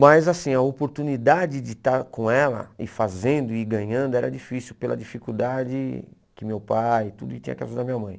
Mas assim, a oportunidade de estar com ela e fazendo e ganhando era difícil, pela dificuldade que meu pai e tudo, e tinha que ajudar minha mãe.